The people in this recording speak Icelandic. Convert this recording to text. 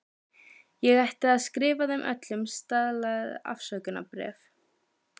Ég ætti að skrifa þeim öllum staðlað afsökunarbréf.